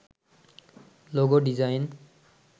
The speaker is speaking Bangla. logo design